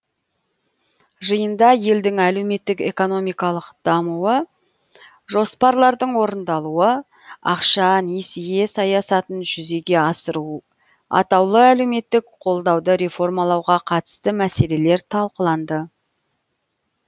жиында елдің әлеуметтік экономикалық дамуы жоспарлардың орындалуы ақша несие саясатын жүзеге асыру атаулы әлеуметтік қолдауды реформалауға қатысты мәселелер талқыланды